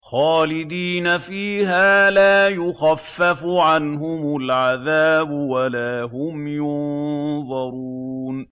خَالِدِينَ فِيهَا لَا يُخَفَّفُ عَنْهُمُ الْعَذَابُ وَلَا هُمْ يُنظَرُونَ